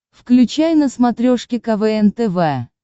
включай на смотрешке квн тв